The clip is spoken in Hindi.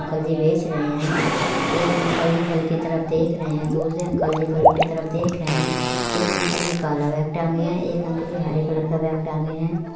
अंकल जी बेच रहे है। एक अंकल जी फल के तरफ देख रहे है। दूसरे अंकल जी फलों की तरफ देख रहे है। एक अंकल जी काला बैग टाँगे है। एक अंकल जी हरे कलर का बैग टाँगे है।